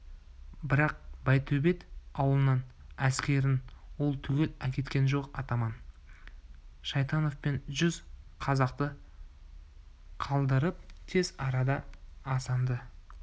бірақ байтөбет аулынан әскерін ол түгел әкеткен жоқ атаман шайтановпен жүз казакты қалдырып тез арада асанды